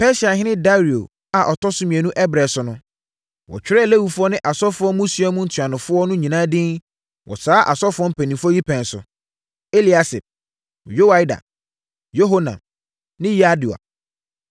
Persiahene Dario a ɔtɔ so mmienu ɛberɛ so no, wɔtwerɛɛ Lewifoɔ ne asɔfoɔ mmusua mu ntuanofoɔ no nyinaa din wɔ saa asɔfoɔ mpanimfoɔ yi pɛn so: Eliasib, Yoiada, Yohanan, ne Yadua.